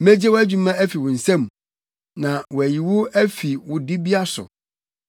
Megye wʼadwuma afi wo nsa mu na wɔayi wo afi wo dibea so.